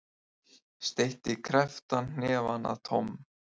Steytti krepptan hnefa að Tom.